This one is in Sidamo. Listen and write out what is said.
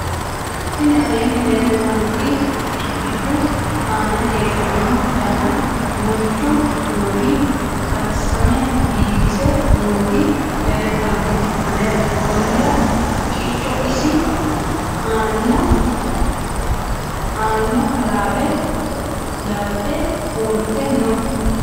tini aleenni leeltannoti girigidu aana heedhona dana duuuchu kuuli karsame biifise nooti leeltanoe anera konnira haqqicho isi aanano halaale labbe uurite no